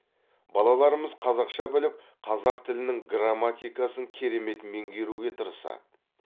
балаларымыз қазақша біліп қазақ тілінің грамматикасын керемет меңгеруге тырысады